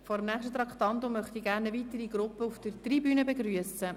Vor dem nächsten Traktandum möchte ich gerne eine weitere Gruppe auf der Tribüne begrüssen.